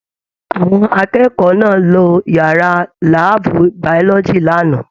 Àwọn akẹ́kọ̀ọ́ náà ló yàrá láàbù biology l'ana.